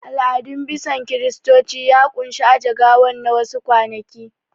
Al'adun bison Kiristoci ya ƙunshi aje gawan na wa su kwanaki